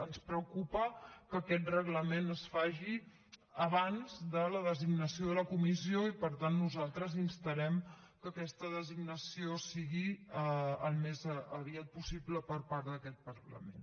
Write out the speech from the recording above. ens preocupa que aquest reglament es faci abans de la designació de la comissió i per tant nosaltres instarem que aquesta designació sigui al més aviat possible per part d’aquest parlament